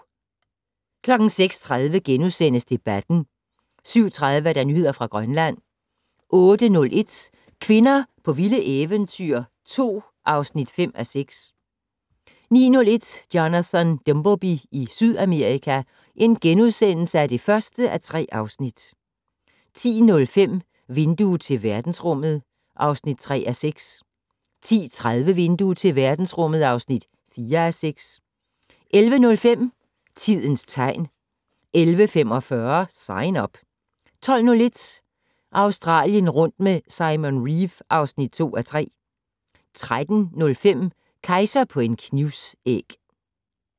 06:30: Debatten * 07:30: Nyheder fra Grønland 08:01: Kvinder på vilde eventyr 2 (5:6) 09:01: Jonathan Dimbleby i Sydamerika (1:3)* 10:05: Vindue til verdensrummet (3:6) 10:30: Vindue til verdensrummet (4:6) 11:05: Tidens tegn 11:45: Sign Up 12:01: Australien rundt med Simon Reeve (2:3) 13:05: Kejser på en knivsæg